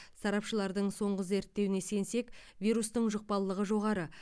сарапшылардың соңғы зерттеуіне сенсек вирустың жұқпалылығы жоғары